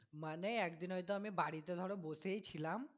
মানে একদিন ওই তো বাড়িতে ধরো বসেই ছিলাম।